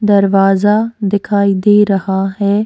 दरवाजा दिखाई दे रहा है।